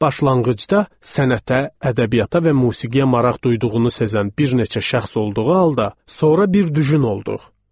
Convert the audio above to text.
Başlanğıcda sənətə, ədəbiyyata və musiqiyə maraq duyduğunu sezən bir neçə şəxs olduğu halda, sonra bir düjün olduq.